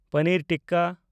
ᱯᱚᱱᱤᱨ tikka